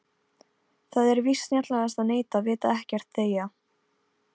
Það er víst snjallast að neita, vita ekkert, þegja.